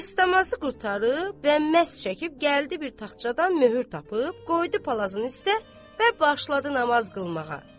Dəstəmazı qurtarıb və məs çəkib gəldi bir taxçadan möhür tapıb, qoydu palazın üstə və başladı namaz qılmağa.